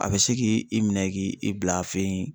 A bɛ se k'i minɛ k'i i bila a fɛ yen.